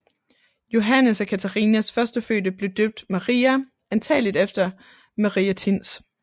Johannes og Catharinas førstefødte blev døbt Maria antagelig efter Maria Thins